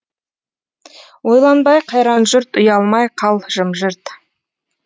ойланбай қайран жұрт ұялмай қал жым жырт